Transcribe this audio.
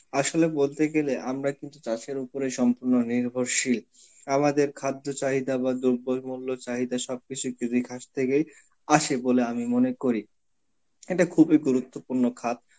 আসলে বলতে গেলে আমরা কিন্তু চাষের উপরে সম্পূর্ণ নির্ভরশীল, আমাদের খাদ্য চাহিদা বা দ্রব্যমূল্য চাহিদা সবকিছুই কৃষি খাত থেকেই আসে বলে আমি মনে করি. এটা খুবই গুরুত্বপূর্ণ খাত.